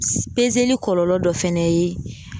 kɔlɔlɔ dɔ fɛnɛ ye